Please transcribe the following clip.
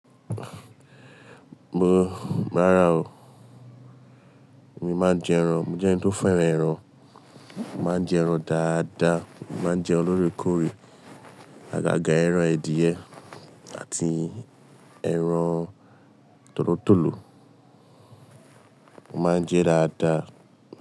Mo, rárá o. Èmi máa ń jẹ ẹran. Mo jẹ́ ẹni tó fẹ́ràn ẹran. Mo máa ń jẹ ẹran dáadáa. Mo máa ń jẹ lórèkórè, àgàgà ẹran èdìyẹ àti ẹran tòlótòló, mo máa ń jẹ dáadáa.